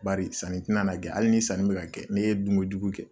Bari sanni tina na kɛ hali ni sanni be ka kɛ n'e ye dunkojugu kɛ